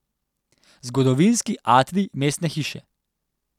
Zgodovinski atrij Mestne hiše.